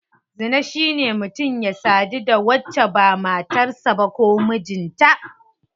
Zina shine mutum ya sadu da wacce ba matar sa ba ko mijinta.